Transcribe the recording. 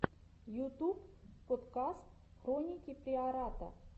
ютуб подкаст хроники приората